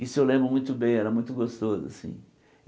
Isso eu lembro muito bem, era muito gostoso assim.